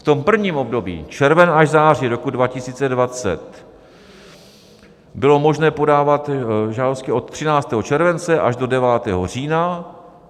V tom prvním období, červen až září roku 2020, bylo možné podávat žádosti od 13. července až do 9. října.